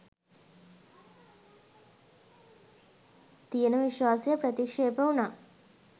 තියෙන විශ්වාසය ප්‍රතික්ෂේප වුණා.